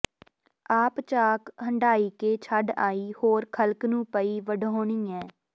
ਆਪ ਚਾਕ ਹੰਢਾਇਕੇ ਛੱਡ ਆਈਂ ਹੋਰ ਖਲਕ ਨੂੰ ਪਈ ਵਡੋਹਨੀ ਹੈਂ